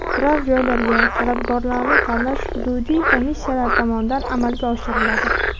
Turar joylarga talabgorlarni tanlash hududiy komissiyalar tomonidan amalga oshiriladi.